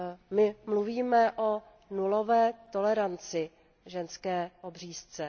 My mluvíme o nulové toleranci k ženské obřízce.